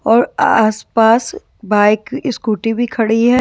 और आस पास बाइक स्कूटी भी खड़ी है।